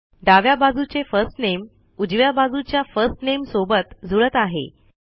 डाव्या बाजूचे फर्स्ट नामे उजव्या बाजूच्या फर्स्ट नामे सोबत जुळत आहे